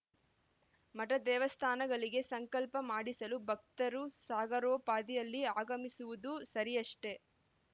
ಮಠ ದೇವಸ್ಥಾನಗಳಿಗೆ ಸಂಕಲ್ಪ ಮಾಡಿಸಲು ಭಕ್ತರು ಸಾಗರೋಪಾದಿಯಲ್ಲಿ ಆಗಮಿಸುವುದು ಸರಿಯಷ್ಟೆ